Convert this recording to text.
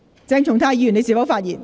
鄭松泰議員，你是否發言？